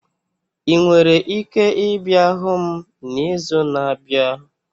Ị nwere ike ịbịa hụ m n'izu na-abịa?